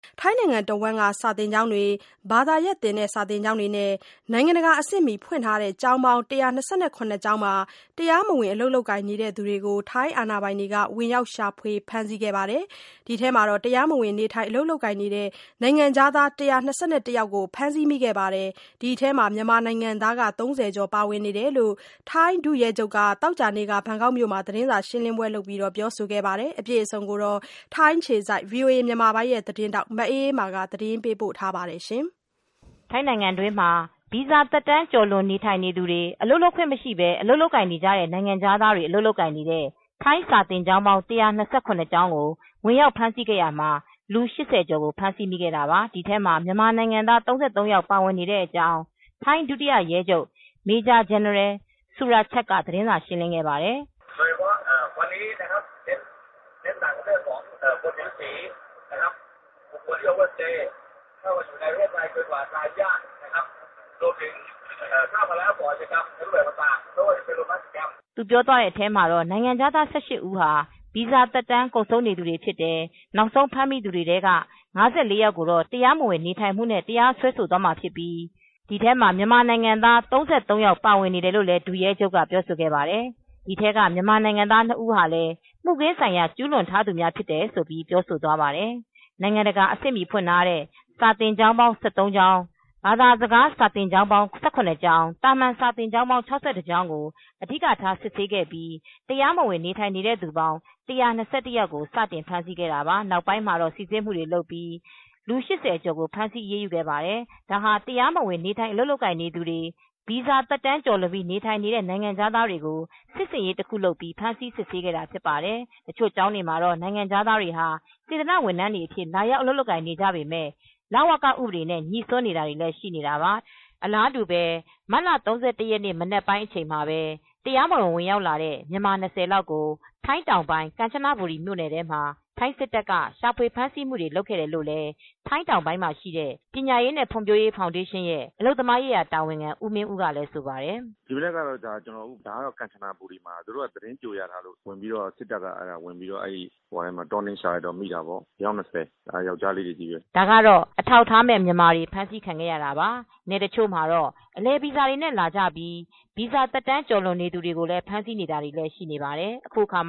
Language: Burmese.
ထိုင်းတနိုင်ငံလုံးက စာသင်ကျောင်းတွေ ဘာသာရပ်သင် စာသင်ကျောင်းတွေနဲ့ နိုင်ငံတကာ အဆင့်မှီဖွင့်ထားတဲ့ ကျောင်းပေါင်း ကျောင်းမှာ တရားမဝင် အလုပ်လုပ်ကိုင်နေသူတွေကို ထိုင်းအာဏာပိုင်တွေက ဝင်ရောက်ရှာဖွေ ဖမ်းဆီးခဲ့ရာမှာ တရားမဝင်နေထိုင် အလုပ်ကိုင်နေတဲ့ နိုင်ငံခြားသား ယောက် ဖမ်းဆီးမိခဲ့ပြီး ဒီထဲမှာ မြန်မာနိုင်ငံသား ကျော် ပါဝင်ကြောင်း ထိုင်းဒုရဲချုပ်က သောကြာနေ့က ဘန်ကောက်မြို့မှာ သတင်းစာရှင်းလင်းပွဲ လုပ်ခဲ့ပါတယ်။ VOA သတင်းထောက် မအေးအေးမာက သတင်းပေးပို့ ထားပါတယ်။ ထိုင်းနိုင်ငံတွင်းမှာ ဗီဇာသက်တမ်း ကျော်လွန်နေသူတွေ အလုပ်လုပ်ခွင့်မရှိပဲ အလုပ်လုပ်ကိုင်နေကြတဲ့ နိုင်ငံခြားသားတွေ အလုပ်လုပ်ကိုင် နေတဲ့ ထိုင်းစာသင်ကျောင်း ကျောင်းကို ဝင်ရောက်ဖမ်းဆီးခဲ့ရာမှာ လူ ကျော်ကို ဖမ်းဆီးခဲ့တာပါ။ ဒီထဲမှာ မြန်မာနိုင်ငံသား ယောက် ပါဝင်တဲ့အကြောင်း ထိုင်းဒုတိယရဲချုပ် Maj-General Surachet က သတင်းစာရှင်းလင်းပွဲမှာ ပြောခဲ့ပါတယ်။ သူပြောသွားတဲ့အထဲမှာ နိုင်ငံခြားသား ဦးဟာ ဗီဇာသက်တမ်း ကုန်ဆုံးနေသူတွေဖြစ်တယ်။ နောက်ဆုံး ဖမ်းမိသူတွေထဲက ယောက်ကို တရားမဝင် နေထိုင်မှုနဲ့တရားစွဲခံရမှာဖြစ်ပြီး အဲဒီထဲမှာ မြန်မာနိုင်ငံသား ယောက် ပါဝင်နေတာလို့လည်း ဒုရဲချုပ်က ပြောဆိုခဲ့ပါတယ်။ ဒီထဲက မြန်မာနိုင်ငံသားနှစ်ဦးဟာ ရာဇဝတ်မှု ကျူးလွန်ထားသူတွေ ဖြစ်တယ်လို့ ပြောဆိုသွားတာပါ။ နိုင်ငံတကာအဆင့်မှီ ဖွင့်ထားတဲ့ စာသင်ကျောင်း ကျောင်း၊ ဘာသာစကားသင် စာသင်ကျောင်းပေါင်း ကျောင်း သာမန် စာသင်ကျောင်းပေါင်း ကျောင်းကို အဓိကထား စစ်ဆေးခဲ့ပြီး တရားမဝင် နေထိုင်နေသူပေါင်း ယောက်ကို စတင်ဖမ်းဆီး ခဲ့တာပါ။ နောက်ပိုင်းမှာတော့ စိစစ်မှုတွေလုပ်ပြီး ကျော်ကို ဖမ်းဆီးအရေးယူခဲ့တာ ဖြစ်ပါတယ်။ ဒါဟာ တရားမဝင်နေထိုင် အလုပ်လုပ်ကိုင် နေသူတွေ၊ ဗီဇာသက်တမ်းလွန်ပြီး နေထိုင်နေသူတွေကို စစ်ဆင်ရေး တခုလိုလုပ်ပြီး စစ်ဆေးဖမ်းဆီးခဲ့တာ ဖြစ်ပါတယ်။ တချို့ကျောင်းတွေမှာတော့ နိုင်ငံခြားသားတွေဟာ စေတနာ့ ဝန်ထမ်းတွေအဖြစ် လာရောက် အလုပ်လုပ်ကိုင်နေကြပေမယ့် လဝကဥပဒေနဲ့ ညိစွန်းနေတာတွေလည်း ရှိပါတယ်။ အလာတူပဲ မတ်လ ၃၁ ရက်နေ့ မနက်ပိုင်းအချိန်မှာ တရားမဝင် ဝင်ရောက်လာတဲ့ မြန်မာ လောက်ကို ထိုင်းတောင်ပိုင်း ကမ်ချနာဘူရီ မြို့နယ်ထဲမှာ ထိုင်းစစ်တပ်ကရှာဖွေ ဖမ်းဆီးမှုတွေ လုပ်ခဲ့တယ်လို့လည်း ထိုင်းတောင်ပိုင်း ပညာရေးနဲ့ ဖွံဖြိုးရေးဖောင်ဒေးရှင်းရဲ့ အလုပ်သမားရေးရာ တာဝန်ခံ ဦးမင်းဦးကလည်း ဆိုပါတယ်။ “ ဒီမနက်ကတော့ ဒါ ကမ်ချနာဘူရီမှာ သူတို့က သတင်းကြိုရထားလို့ ဝင်ပြီးတော့ ထိုင်းစစ်တပ်က တောနင်းရှာလိုက်တော့ မိတာပေါ့။ အယောက် ၂၀။ ယောကျ်ားလေးတွေ ချည်းပဲ” ဒါကတော့ အထောက်အထားမဲ့ မြန်မာတွေ ဖမ်းဆီးခံခဲ့ရတာပါ။ နယ်တချို့မှာတော့ အလည်ဗီဇာနဲ့လာပြီး ဗီဇာသက်တမ်း ကျော်လွန် နေသူတွေကို ဖမ်ဆီးနေတာလည်း ရှိနေပါတယ်။ အခုအခါမ